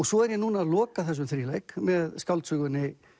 svo er ég núna að loka þessum þríleik með skáldsögunni